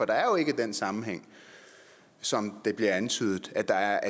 det er jo ikke den sammenhæng som der bliver antydet at der er